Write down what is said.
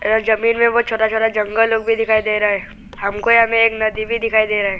यह जमीन में बहुत छोटा छोटा जंगल लोग भी दिखाई दे रहा है हमको यहां में एक नदी भी दिखाई दे रहा है।